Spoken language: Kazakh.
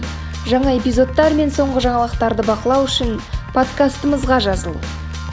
жаңа эпизодтар мен соңғы жаңалықтарды бақылау үшін подкастымызға жазыл